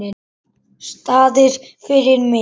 Staðir fyrir mig.